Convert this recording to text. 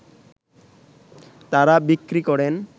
তারা বিক্রি করেন